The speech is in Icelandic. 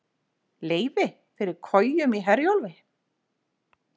Leyfi fyrir kojum í Herjólfi